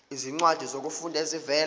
izincwadi zokufunda ezivela